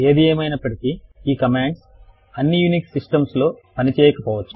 ఏది ఏమైనప్పటికీ ఈ కమాండ్స్ అన్నీ యూనిక్స్ సిస్టమ్స్ లో పని చేయకపోవచ్చు